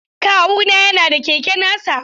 Kawuna yana da keke nasa.